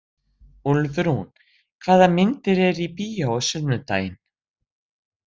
Úlfrún, hvaða myndir eru í bíó á sunnudaginn?